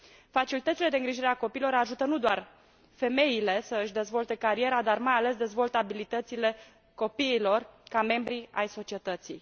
Facilitățile de îngrijire a copiilor ajută nu doar femeile să își dezvolte cariera, dar mai ales dezvoltă abilitățile copiilor ca membri ai societății.